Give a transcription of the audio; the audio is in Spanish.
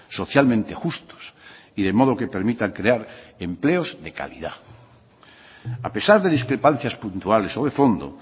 socialmente justos y de modo que permitan crear empleos de calidad a pesar de discrepancias puntuales o de fondo